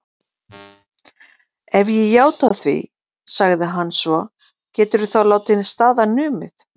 Ef ég játa því, sagði hann svo, geturðu þá látið staðar numið?